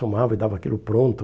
Somava e dava aquilo pronto.